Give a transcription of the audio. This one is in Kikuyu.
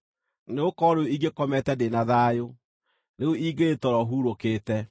Nĩgũkorwo rĩu ingĩkomete ndĩ na thayũ; rĩu ingĩrĩ toro hurũkĩte